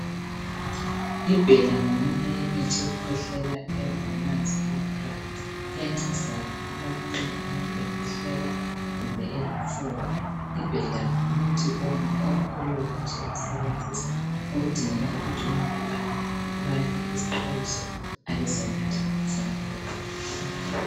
IBella ngomunye yemithi yokukhwehlela engamanzi enathwayo, iyancedisa kakhulu lapho nxa umuntu ekhwehlela kumbe olofuba. IBella ngumuthi olula nje ukusebenzisa okudingeka ukuthi umuntu abale isixwayiso abesenatha okumfaneleyo